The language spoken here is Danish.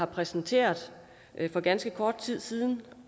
præsenterede for ganske kort tid siden